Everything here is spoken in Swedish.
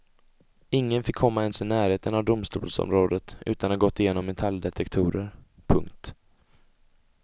Ingen fick komma ens i närheten av domstolsområdet utan att ha gått genom metalldetektorer. punkt